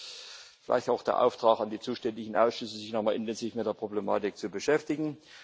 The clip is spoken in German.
Also gleich auch der Auftrag an die zuständigen Ausschüsse, sich noch einmal intensiv mit der Problematik zu beschäftigen.